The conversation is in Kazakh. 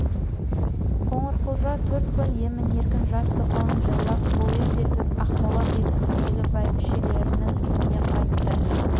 қоңырқұлжа төрт күн емін-еркін жас тоқалын жайлап бойы сергіп ақмола бекінісіндегі бәйбішелерінің үйіне қайтты